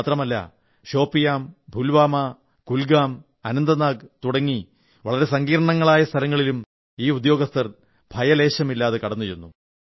മാത്രമല്ല ഷോപിയാൻ പുൽവാമ കുൽഗാം അനന്തനാഗ് തുടങ്ങി വളരെ സങ്കീർണ്ണമായ സ്ഥലങ്ങളിലും ഈ ഉദ്യോഗസ്ഥർ ഭയലേശമില്ലാതെ കടന്നുചെന്നു